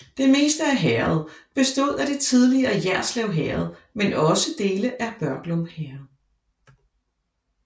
Det meste af herredet bestod af det tidligere Jerslev Herred men også dele af Børglum Herred